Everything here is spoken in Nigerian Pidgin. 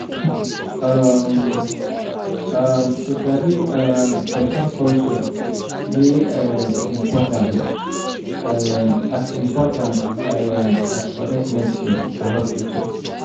um um to sabi um person culture dey um important um as important um as correct medicine for hospital.